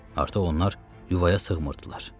Artıq onlar yuvaya sığmırdılar.